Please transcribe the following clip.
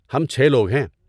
ہم چھ لوگ ہیں۔